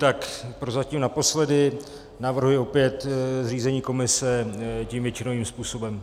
Tak prozatím naposledy, navrhuji opět zřízení komise tím většinovým způsobem.